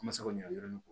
Masaw ɲɛ a yɔrɔnin ko